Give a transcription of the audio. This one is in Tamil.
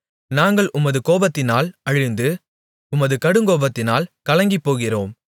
நாங்கள் உமது கோபத்தினால் அழிந்து உமது கடுங்கோபத்தினால் கலங்கிப்போகிறோம்